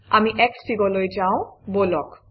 আমি Xfig অলৈ যাওঁ বলক